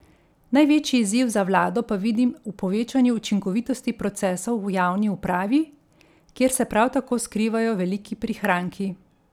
Največji izziv za vlado pa vidim v povečanju učinkovitosti procesov v javni upravi, kjer se prav tako skrivajo veliki prihranki.